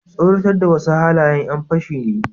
tsoratar da wasu halayen yan fashi ne